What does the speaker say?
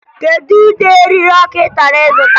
Kedu ụdị eriri ọkụ ị chọrọ ịzụta?